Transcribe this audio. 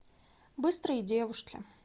быстрые девушки